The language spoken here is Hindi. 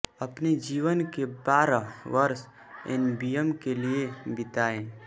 अपने जीवन के बारह वर्ष एनबीएम के लिए बिताए